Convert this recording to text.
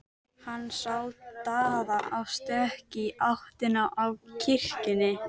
Hann sá Daða á stökki í áttina að kirkjunni.